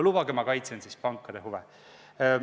Lubage, ma kaitsen siis pankade huve.